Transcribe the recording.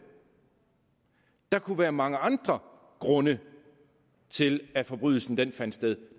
der kunne være mange andre grunde til at forbrydelsen fandt sted